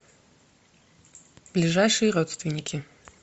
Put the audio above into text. ближайшие родственники